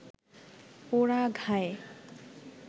পোড়া ঘায়ে